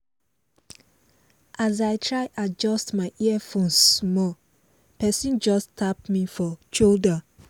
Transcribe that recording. as i try adjust my headphones small person just tap me for shoulder